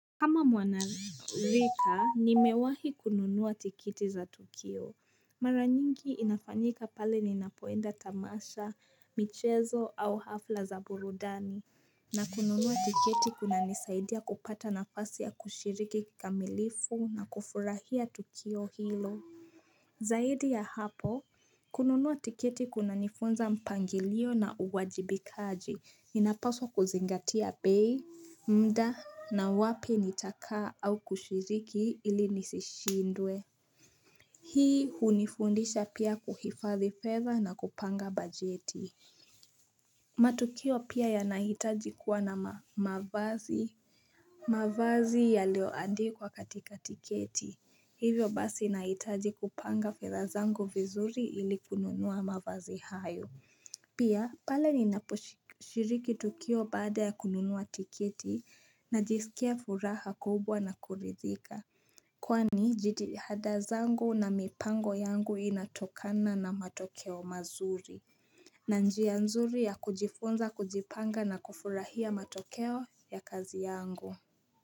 Kama mwanarika nimewahi kununua tikiti za Tukio mara nyingi inafanyika pale ninapoenda tamasha michezo au hafla za burudani na kununua tiketi kunanisaidia kupata nafasi ya kushiriki kamilifu na kufurahia Tukio hilo Zaidi ya hapo, kununua tiketi kunanifunza mpangilio na uwajibikaji, ninapaswa kuzingatia pay, mda na wapi nitakaa au kushiriki ili nisishindwe. Hii hunifundisha pia kuhifadhi fedha na kupanga bajeti. Matukio pia yanahitaji kuwa na mavazi. Mavazi yalioandikwa katika tiketi, hivyo basi nahitaji kupanga fedha zangu vizuri ili kununua mavazi hayo Pia, pale ninaposhiriki tukio baada ya kununua tiketi najisikia furaha kubwa na kuridhika Kwani, jitiha zangu na mipango yangu inatokana na matokeo mazuri na njia nzuri ya kujifunza kujipanga na kufurahia matokeo ya kazi yangu.